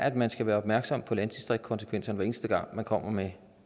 at man skal være opmærksom på landdistriktskonsekvenserne hver eneste gang man kommer med